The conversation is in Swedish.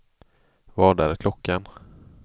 Vad är klockan